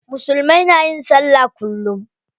Musulmai na yin sallah kullum.